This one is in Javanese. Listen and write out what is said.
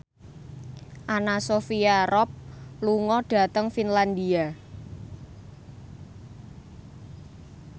Anna Sophia Robb lunga dhateng Finlandia